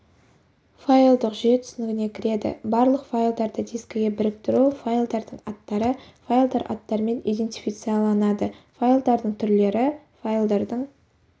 файлдық жүйе түсінігіне кіреді барлық файлдарды дискіге біріктіру файлдардың аттары файлдар аттарымен идентифицияланады файлдардың түрлері файлдардың